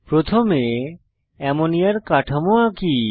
প্রথমে অ্যামোনিয়ার কাঠামো আঁকি